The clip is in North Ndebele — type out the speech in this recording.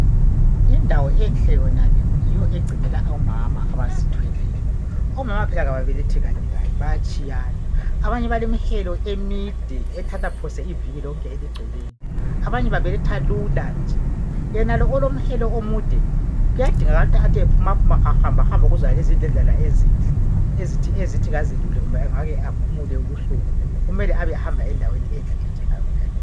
Indawo enhle yonale yiyo egcinela omama abazithweleyo omama phela ababelethi kanye Kanye bayatshayana abanye balemihelo emide ethatha phose iviki eligcweleyo. Abanye babeletha lula yenalo olomhelo omude kuyadingakala ukuthi ephumaphuma ahambehambe kuzonezi indledlana ezinhle ezithi azelule kumbe aphumule ubuhlungu kumele abehamba endaweni enhle njengayonale.